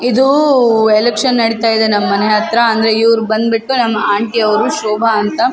ಇದೂ ಎಲೆಕ್ಷನ್ ನಡೀತಯಿದೆ ನಮ್ಮ್ ಮನೆ ಹತ್ರ ಅಂದ್ರೆ ಇವ್ರ್ ಬಂದ್ಬಿಟ್ಟು ನಮ್ಮ್ ಆಂಟಿ ಅವ್ರು ಶೋಭಾ ಅಂತ.